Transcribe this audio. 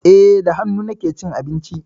Eh, da hannu nake cin abinci.